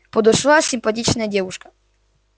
подошла симпатичная девушка